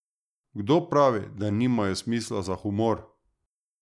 Kdo pravi, da nimajo smisla za humor!